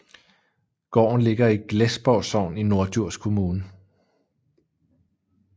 Gården ligger i Glesborg Sogn i Norddjurs Kommune